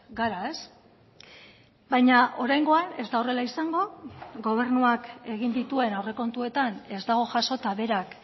gara ez baina oraingoan ez da horrela izango gobernuak egin dituen aurrekontuetan ez dago jasota berak